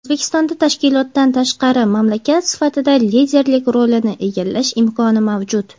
O‘zbekistonda tashkilotdan tashqari mamlakat sifatida liderlik rolini egallash imkoni mavjud.